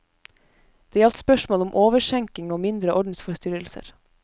Det gjaldt spørsmål om overskjenking og mindre ordensforstyrrelser.